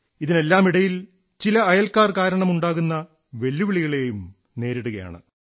ഇതിനെല്ലാമിടയിൽ ചില അയൽക്കാർ കാരണമുണ്ടാകുന്ന വെല്ലുവിളികളെയും നേരിടുകയാണ്